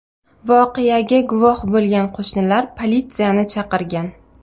Voqeaga guvoh bo‘lgan qo‘shnilar politsiyani chaqirgan.